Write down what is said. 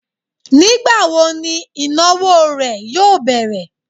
Nígbàwo ni ìnáwó rè yóò bẹ̀rẹ̀